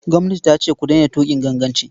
Gwamnati ce ku daina tuƙin ganganci.